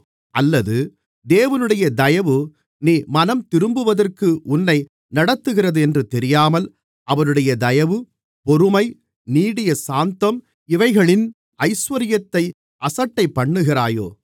அல்லது தேவனுடைய தயவு நீ மனம்திரும்புவதற்கு உன்னை நடத்துகிறதென்று தெரியாமல் அவருடைய தயவு பொறுமை நீடிய சாந்தம் இவைகளின் ஐசுவரியத்தை அசட்டைபண்ணுகிறாயோ